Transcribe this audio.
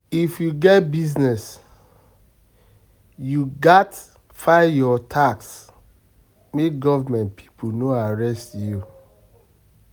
If you get business, you gats file your tax make government people no arrest you.